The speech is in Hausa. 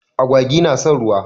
Agwagi na son ruwa.